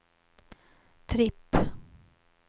tripp